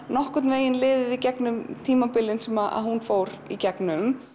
nokkurn veginn í gegnum tímabilin sem hún fór í gegnum